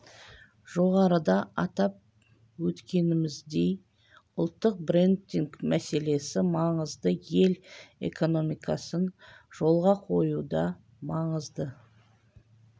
жоғарыда атап өткеніміздей ұлттық брендинг мәселесі маңызды ел экономикасын жолға қоюда маңызды